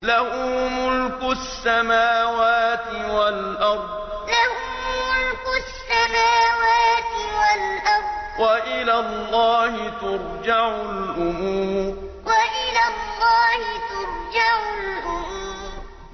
لَّهُ مُلْكُ السَّمَاوَاتِ وَالْأَرْضِ ۚ وَإِلَى اللَّهِ تُرْجَعُ الْأُمُورُ لَّهُ مُلْكُ السَّمَاوَاتِ وَالْأَرْضِ ۚ وَإِلَى اللَّهِ تُرْجَعُ الْأُمُورُ